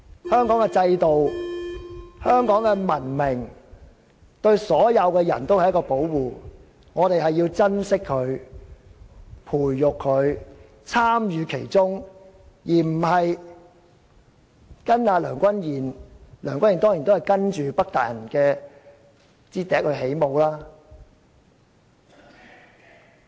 香港的制度、香港的文明，對所有人也是一種保護，我們要珍惜、培育和參與其中，而不是跟隨梁君彥——梁君彥當然也只是跟隨北大人的笛聲起舞。